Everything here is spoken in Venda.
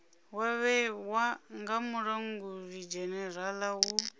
wa vhewa nga mulangulidzhenerala u